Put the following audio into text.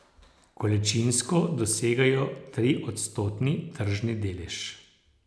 Količinsko dosegajo triodstotni tržni delež.